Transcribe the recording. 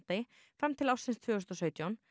fram til ársins tvö þúsund og sautján